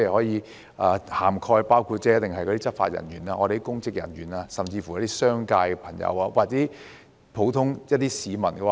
有關法例可涵蓋執法人員、公職人員，甚至商界朋友或普通市民。